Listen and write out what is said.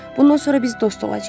Bundan sonra biz dost olacağıq.